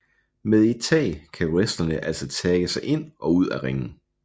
Med et tag kan wrestlerne altså tagge sig ind og ud af ringen